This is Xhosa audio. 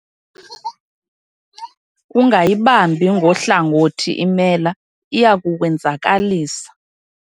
Ungayibambi ngohlangothi imela, iya kukwenzakalisa.